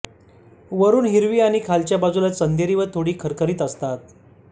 वरून हिरवी आणि खालच्या बाजूला चंदेरी व थोडी खरखरीत असतात